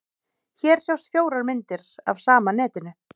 Hér sjást fjórar myndir af sama netinu.